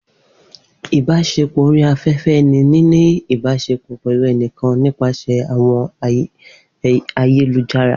online ibaṣepọ ni nini a ibasepọ pẹlu ẹnikan nipasẹ awọn ayelujara.